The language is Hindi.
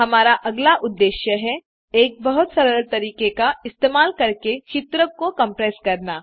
हमारा अगला उद्देश्य है एक बहुत सरल तरीके का इस्तेमाल करके चित्र को कम्प्रेस करना